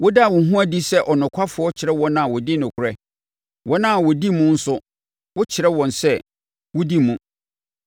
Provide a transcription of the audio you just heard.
Woda wo ho adi sɛ ɔnokwafoɔ kyerɛ wɔn a wɔdi nokorɛ, wɔn a wɔdi mu nso wo kyerɛ wɔn sɛ wodi mu.